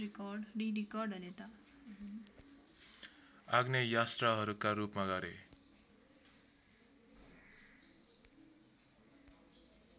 आग्नेयास्त्रहरूका रूपमा गरे